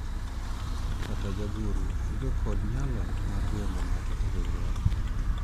kata jagoro onge kod nyalo mar riembo ng'ato e riwruok